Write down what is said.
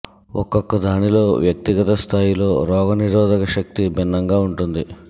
ఒక్కొక్క దానిలో వ్యక్తి గత స్థాయిలో రోగ నిరోధక శక్తి భిన్నంగా ఉంటుంది